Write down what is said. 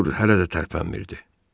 Artur hələ də tərpənmirdi.